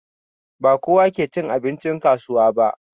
Ba kowa ke cin abincin kasuwa ba